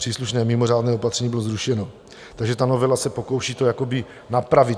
Příslušné mimořádné opatření bylo zrušeno, takže ta novela se pokouší to napravit.